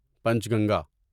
پنچ Ganga